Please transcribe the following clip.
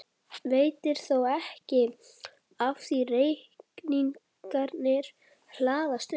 Veitir þó ekki af því reikningarnir hlaðast upp.